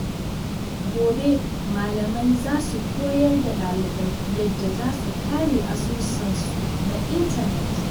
Gobe, malamai za su koyar da ɗalibai yadda za su kare asusun su na intanet.